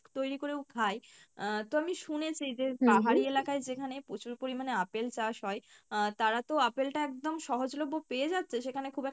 তৈরি করেও খাই আহ তো আমি শুনেছি যে পাহাড়ি এলাকায় যেখানে প্রচুর পরিমাণে আপেল চাষ হয় আহ তারা তো আপেল টা একদম সহজলভ্য পেয়ে যাচ্ছে সেখানে খুব একটা